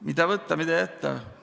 Mida võtta, mida jätta?